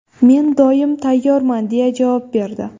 Men doim tayyorman”, deya javob berdi.